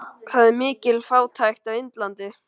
Það er mikil fátækt á Indlandi.